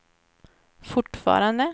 fortfarande